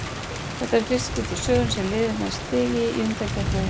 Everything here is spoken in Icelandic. Þetta er fyrsta í skipti í sögunni sem liðið nær stigi í undankeppni EM.